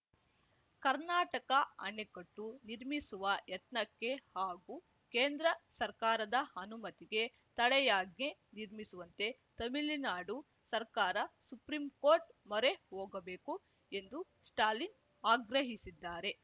ಕರ್ನಾಟಕ ಅಣೆಕಟ್ಟು ನಿರ್ಮಿಸುವ ಯತ್ನಕ್ಕೆ ಹಾಗೂ ಕೇಂದ್ರ ಸರ್ಕಾರದ ಅನುಮತಿಗೆ ತಡೆಯಾಜ್ಞೆ ನಿರ್ಮಿಸುವಂತೆ ತಮಿಳುನಾಡು ಸರ್ಕಾರ ಸುಪ್ರಿಂಕೋರ್ಟ್‌ ಮೊರೆ ಹೋಗಬೇಕು ಎಂದು ಸ್ಟಾಲಿನ್‌ ಆಗ್ರಹಿಸಿದ್ದಾರೆ